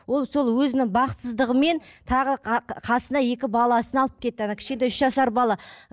ол сол өзінің бақытсыздығымен тағы қасына екі баласын алып кетті ана кішкентай үш жасар бала